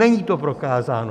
Není to prokázáno!